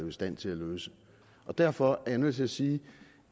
jo i stand til at løse derfor er jeg nødt til at sige